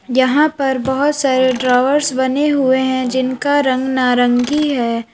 यहां पर बहोत सारे ड्रॉवर्स बने हुए हैं जिनका रंग नारंगी है।